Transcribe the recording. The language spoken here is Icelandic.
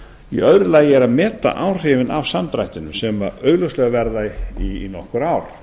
í öðru lagi er að meta áhrifin af samdrættinum sem augljóslega verða í nokkur ár